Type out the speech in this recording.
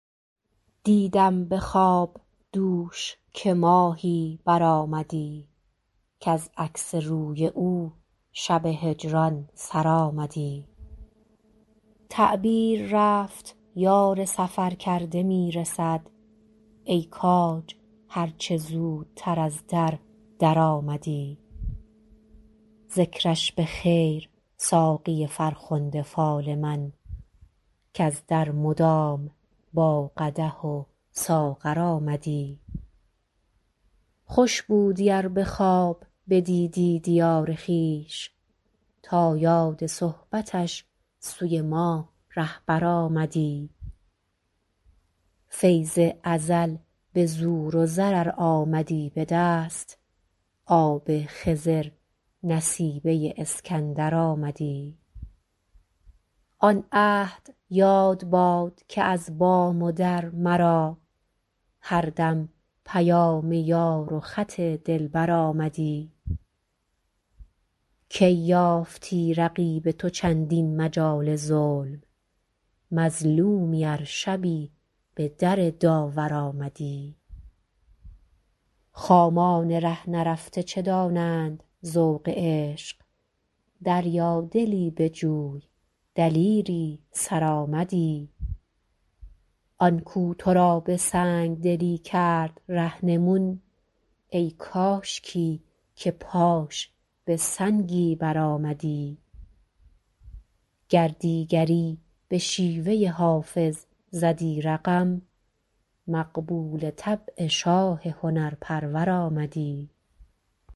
دیدم به خواب دوش که ماهی برآمدی کز عکس روی او شب هجران سر آمدی تعبیر رفت یار سفرکرده می رسد ای کاج هر چه زودتر از در درآمدی ذکرش به خیر ساقی فرخنده فال من کز در مدام با قدح و ساغر آمدی خوش بودی ار به خواب بدیدی دیار خویش تا یاد صحبتش سوی ما رهبر آمدی فیض ازل به زور و زر ار آمدی به دست آب خضر نصیبه اسکندر آمدی آن عهد یاد باد که از بام و در مرا هر دم پیام یار و خط دلبر آمدی کی یافتی رقیب تو چندین مجال ظلم مظلومی ار شبی به در داور آمدی خامان ره نرفته چه دانند ذوق عشق دریادلی بجوی دلیری سرآمدی آن کو تو را به سنگ دلی کرد رهنمون ای کاشکی که پاش به سنگی برآمدی گر دیگری به شیوه حافظ زدی رقم مقبول طبع شاه هنرپرور آمدی